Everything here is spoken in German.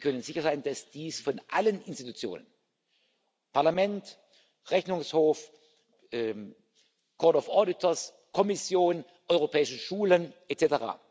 Sie können sicher sein, dass dies bei allen Institutionen Parlament, Rechnungshof, Kommission, Europäische Schulen etc.